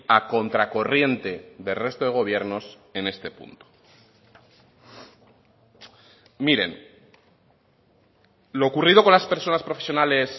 a contracorriente del resto de gobiernos en este punto miren lo ocurrido con las personas profesionales